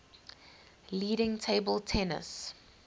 leading table tennis